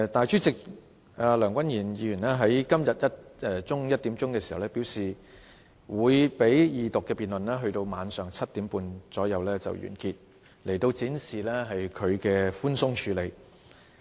主席梁君彥議員在今天中午1時表示二讀辯論會在晚上7時30分左右完結，說已經展示他寬鬆處理。